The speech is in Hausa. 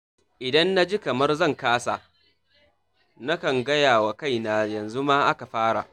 Idan naji kamar zan kasa, nakan gayawa kaina, yanzu ma aka fara.